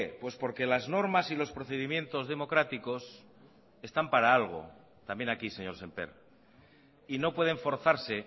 pues porque las normas y los procedimientos democráticos están para algo también aquí señor sémper y no pueden forzarse